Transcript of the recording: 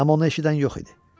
Amma onu eşidən yox idi.